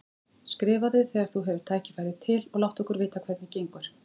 Skrifaðu þegar þú hefur tækifæri til og láttu okkur vita hvernig gengur.